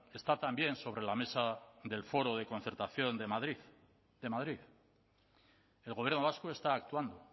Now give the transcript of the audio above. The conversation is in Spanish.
esta también sobre la mesa del foro de concertación de madrid de madrid el gobierno vasco está actuando